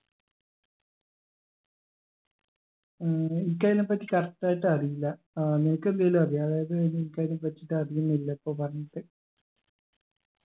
ഉം എനിക്കയിന പറ്റി correct ആയിട്ട് അറിയില്ല ഏർ നിനക്കെന്തെങ്കിലു അറിയോ അതായത് ഇനിക്കതിനപ്പറ്റിട്ട് അറിയുന്നില്ല ഇപ്പൊ പറഞ്ഞത്